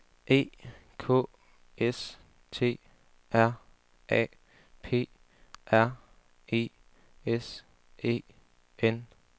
E K S T R A P R I S E N